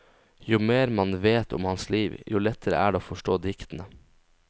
Jo mer man vet om hans liv, jo lettere er det å forstå diktene.